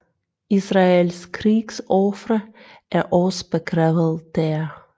Israels krigsofre er også begravet dér